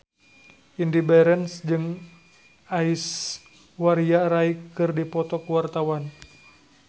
Indy Barens jeung Aishwarya Rai keur dipoto ku wartawan